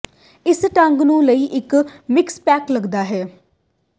ਇਸ ਢੰਗ ਨੂੰ ਲਈ ਇੱਕ ਮਿਕਸ ਪੈਕ ਲੱਗਦਾ ਹੈ